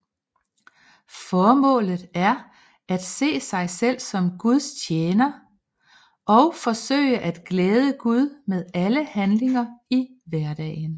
Formålet er at se sig selv som Guds tjener og forsøge at glæde Gud med alle handlinger i hverdagen